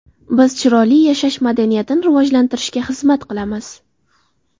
Biz chiroyli yashash madaniyatini rivojlantirishga xizmat qilamiz.